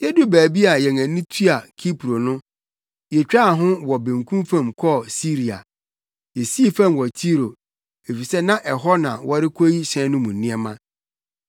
Yeduu baabi a yɛn ani tua Kipro no, yetwaa ho wɔ benkum fam kɔɔ Siria. Yesii fam wɔ Tiro, efisɛ na ɛhɔ na wɔrekoyi hyɛn no mu nneɛma.